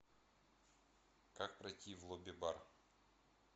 как пройти в лобби бар